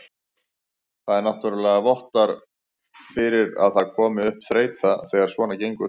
Það náttúrulega vottar fyrir að það komi upp þreyta þegar svona gengur.